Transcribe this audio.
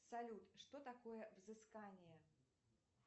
салют что такое взыскание